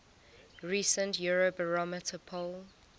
recent eurobarometer poll